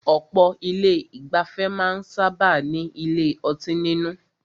Ọ̀pọ̀ ilé ìgbafẹ́ máà ń sábáà ní ilé ọtí nínú.